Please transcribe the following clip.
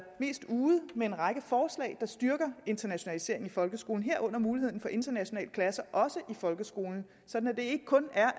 mest ude med en række forslag der styrker internationaliseringen i folkeskolen herunder muligheden for internationale klasser også i folkeskolen sådan at det ikke kun er